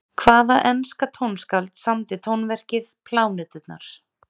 Hvaða enska tónskáld samdi tónverkið Pláneturnar?